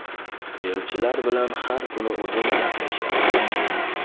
Elchilar bilan har kuni o‘zim gaplashyapman.